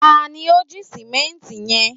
ta ni o ji simẹnti yẹn